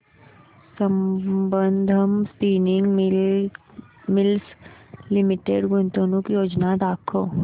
Sambandam spinning mills limited गुंतवणूक योजना दाखव